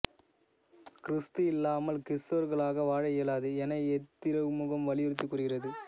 கிறிஸ்து இல்லாமல் கிறிஸ்தவர்களாக வாழ இயலாது என இத்திருமுகம் வலியுறுத்திக் கூறுகிறது